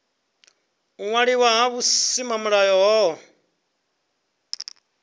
u waliwa ha vhusimamilayo hohe